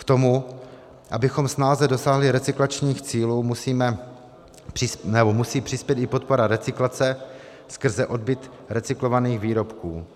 K tomu, abychom snáze dosáhli recyklačních cílů, musí přispět i podpora recyklace skrze odbyt recyklovaných výrobků.